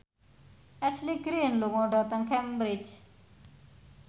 Ashley Greene lunga dhateng Cambridge